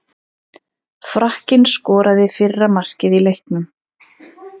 Frakkinn skoraði fyrra markið í leiknum.